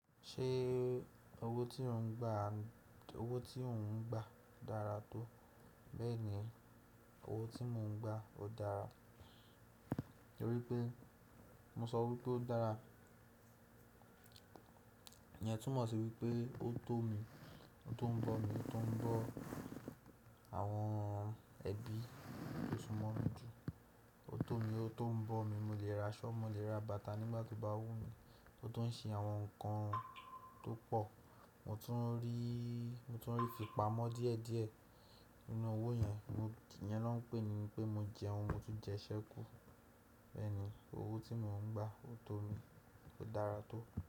Ṣé owó tí ò ń gba, owó tí ò ń gba dára tó? Bẹ́ẹ̀ ni, owó tí mo ń gba ó dára. Orí pe, mo sọ wípé ó dára. Ìyẹn túmọ̀ sí wípé ó tó mi, ó tún ń bọ̀ mí, ó tún ń bọ̀ àwọn ẹbí tó súmọ́ mi jù. Ó tó mi, ó tón ń bọ̀ mí. Mo lè ra'ṣọ, mo lè ra bàtà nígbà tó bá wù mí. Ó tún ń ṣe àwọn nǹkan tó pọ̀. Mo tún rí, mo tún rí ìfipamọ́ díẹ̀ díẹ̀ nínú owó yẹn. Ìyẹn lọ́ ń pè ní pé mo jẹun, mo tún jẹ iṣẹ́kù. Bẹ́ẹ̀ ni, owó tí mo ń gba ó tó mi, ó dára tó.